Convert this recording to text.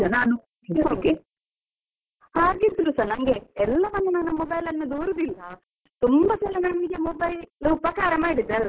ಹೌದು, ಹಾಗಿದ್ರುಸ ನನ್ಗೆ ಎಲ್ಲವನ್ನು ನನ್ನ mobile ಅನ್ನು ದೂರುದಿಲ್ಲ, ತುಂಬಾ ಸಲ ನನ್ಗೆ mobile ಉಪಕಾರ ಮಾಡಿದೆ ಅಲ್ವಾ .